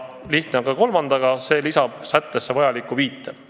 Lihtne on ka kolmandaga, see lisab sättesse vajaliku viite.